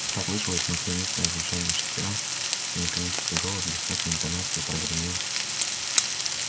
послышалось маслянистое жужжание шестерён и механический голос без всякой интонации прогремел